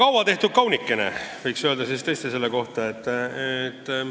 Kaua tehtud kaunikene võiks selle eelnõu kohta küll öelda.